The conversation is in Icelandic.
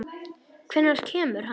Hvenær kemur hann?